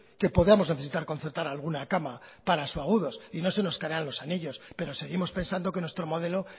que podamos necesitar concertar alguna cama para subagudos y no se nos caerán los anillos pero seguimos pensando que nuestro modelo